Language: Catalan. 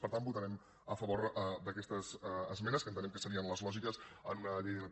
per tant votarem a favor d’aquestes esmenes que entenem que serien les lògiques en una llei d’ilp